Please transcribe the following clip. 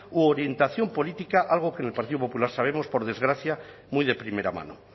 u orientación política algo que en el partido popular sabemos por desgracia muy de primera mano